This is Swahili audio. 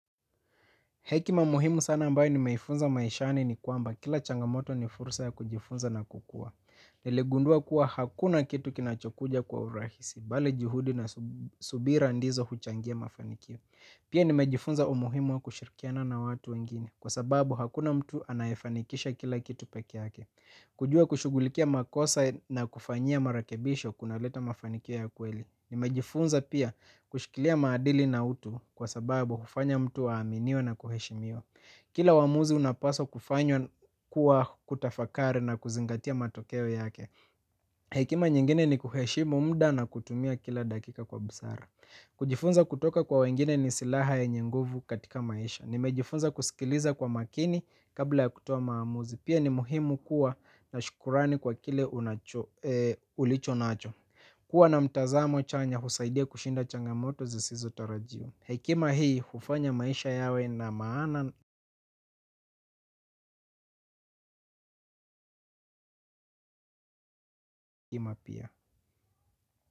Hekima muhimu sana ambayo nimeifunza maishani ni kwamba kila changamoto ni fursa ya kujifunza na kukua. Niligundua kuwa hakuna kitu kinachokuja kwa urahisi. Bali juhudi na subira ndizo huchangia mafanikio. Pia nimejifunza umuhimu wa kushirikiana na watu wengine. Kwa sababu hakuna mtu anayefanikisha kila kitu pekee yake. Kujua kushughulikia makosa na kufanyia marekebisho kunaleta mafanikio ya kweli. Nimejifunza pia kushikilia maadili na utu kwa sababu hufanya mtu aaminiwe na kuheshimiwa. Kila uamuzi unapaswa kufanywa kwa kutafakari na kuzingatia matokeo yake. Hekima nyingine ni kuheshimu muda na kutumia kila dakika kwa busara. Kujifunza kutoka kwa wengine ni silaha yenye nguvu katika maisha. Nimejifunza kusikiliza kwa makini kabla ya kutoa maamuzi. Pia ni muhimu kuwa na shukrani kwa kile ulichonacho. Kuwa na mtazamo chanya husaidia kushinda changamoto zisizo tarajiwa. Hekima hii, hufanya maisha yawe na maana ima pia.